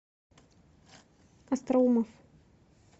остроумов